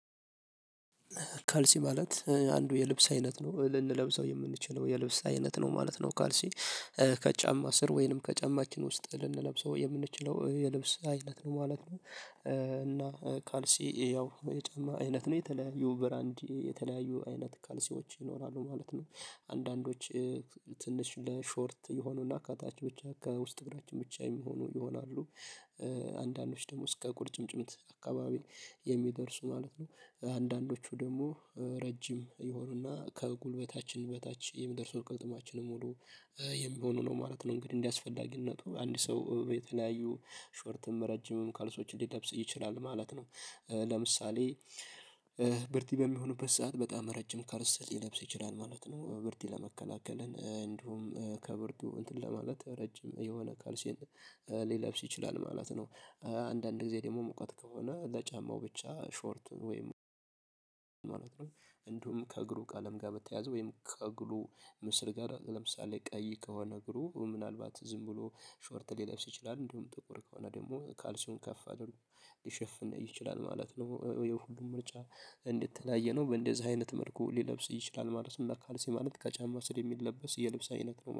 ካልሲ ማለት አንዱ የልብስ አይነት ነው ልንለብሰው የምንችለው የልብስ አይነት ነው ማለት ነው። ካልሲ ከጫማ ስር ወይንም ከጫማችን ውስጥ ልንለብሰው የምንችለው የልብስ አይነት ነው ማለት ነው። እና ካልሲ ያው የጨማ አይነት ነው የተለያዩ ብራንዲ የተለያዩ አይነት ካልሲዎች ይኖራሉ ማለት ነው። አንዳንዶች ትንሽ ለሾርት የሆኑና ከታች ብቻ ከውስጥ እግራችን ብቻ የሚሆኑ ይሆናሉ። አንዳንዶች ደግሞ እስከ ቁርጭምጭምት አካባቢ የሚደርሱ ማለት ነው። አንዳንዶቹ ደግሞ ረጅም ይሆናሉና ከጉልበታችን በታች የሚደርሱ ቅጥማችንን ሙሉ የሚሆኑ ነው ማለት ነው። እንግዲህ እንደሚያስፈልግነቱ አንድ ሰው የተለያዩ ሾርትም ረጅምም ከልሶች ሊለብስ ይችላል ማለት ነው። ለምሳሌ ብርድ በሚሆኑበት ሰዓት በጣም ረጅም ካልሰ ሊለብስ ይችላል ማለት ነው። ብርድ ለመከላከል እንዲሁም ከብርዱ እንትን ለማለት ረጅም የሆነ ካልሲ ሊለብስ ይችላል ማለት ነው። አንዳንድ ጊዜ ደግሞ ሙቀት ከሆነ ለጫማው ብቻ ሾርት ወይም ነው። እንደውም ከእግሩ ቃለም ጋር በተያያዘ ወይም ከእግሩ ምስር ጋር ለምሳሌ ቀይ ከሆነ እግሩ ምናልባት ዝም ብሎ ሾርት ሊለብስ ይችላል እንደውም ጥቁር ከሆነ ደግሞ ካልሲዮን ከፍ አድርጎ ሊሸፍን ይችላል ማለት ነው። የሁሉም ምርጫ እንደተለያየ ነው በእንደዚህ አይነት መልኩ ሊለብስ ይችላል ማለት ነው። ካልሲ ማለት ከጫማ ስር የሚለበስ የልብሳ አይነት ነው